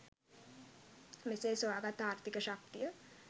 මෙසේ සොයාගත් ආර්ථික ශක්තිය